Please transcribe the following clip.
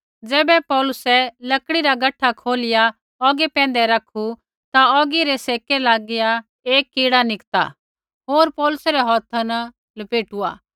ज़ैबै पौलुसै लकड़ी रा गठा खोलिया औगी पैंधै रखू ता औगी रै सेक लागिया एक कीड़ा निकता होर पौलुसै रै हौथा न लपेटुआ